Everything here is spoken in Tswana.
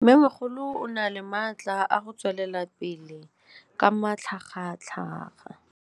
Mmêmogolo o na le matla a go tswelela pele ka matlhagatlhaga.